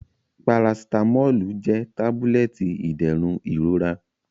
Paracetamolu jẹ tabulẹti iderun irora.